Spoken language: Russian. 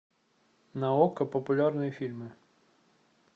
на окко популярные фильмы